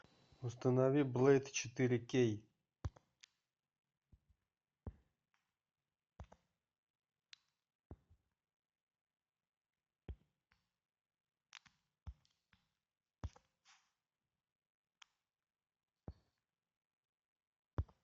установи блейд четыре кей